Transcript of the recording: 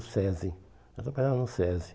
SESI. Ela trabalhava no SESI.